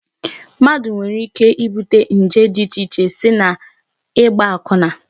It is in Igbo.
Mmadụ nwere ike ibute nje dị icheche site n'ịgba akwụna